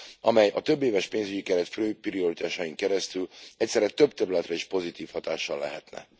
amely a többéves pénzügyi keret fő prioritásain keresztül egyszerre több területre is pozitív hatással lehetne.